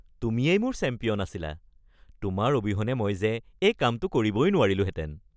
তুমিয়েই মোৰ চেম্পিয়ন আছিলা! তোমাৰ অবিহনে মই যে এই কামটো কৰিবই নোৱাৰিলোঁহেঁতেন।